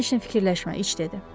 Sən eşini fikirləşmə, iç dedi.